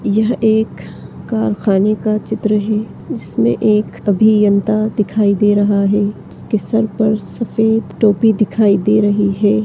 यह एक कारखाने का चित्र है जिसमें एक अभियंता दिखाई दे रहा है उसके सर पर सफेद टोपी दिखाई दे रही है।